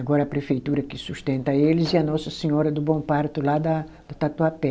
Agora a prefeitura que sustenta eles e a Nossa Senhora do Bom Parto, lá da da Tatuapé.